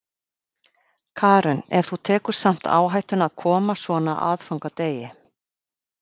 Karen: En þú tekur samt áhættuna að koma svona á aðfangadegi?